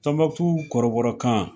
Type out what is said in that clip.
kɔrɔbɔrɔ kan